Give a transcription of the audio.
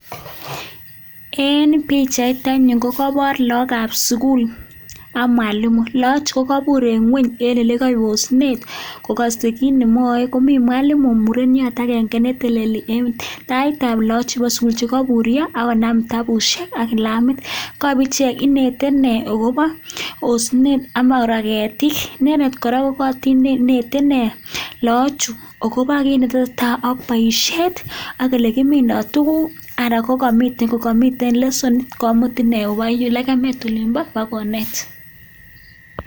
En bichait anyun kokabor lagokab sukul ak mwalimu lagok chutok kabur eng ngwony eng ole kayosnet ako kiit nemwae komi mwalimu mureniot akenge netononi eng taitab lagok chebo sukul cheko burio akonam kitabusiek ak kalamit kaib ichek inete ine akobo osinet ama kora ketik inendet kora konetikei lagochu akobo kit netesetai ak boisiet ak ole kimindoi tuguk anan kokamiten lessonit komutin oba yun lekemet olinbo akonet.